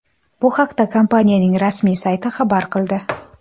Bu haqda kompaniyaning rasmiy sayti xabar qildi .